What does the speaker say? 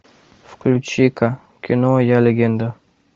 включи ка кино я легенда